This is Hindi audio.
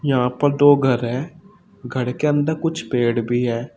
यहां पर दो घर है घर के अंदर कुछ पेड़ भी है।